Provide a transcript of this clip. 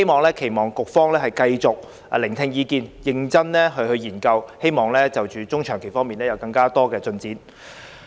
我期望局方繼續聆聽意見，認真研究，希望中長期措施方面會有更多進展。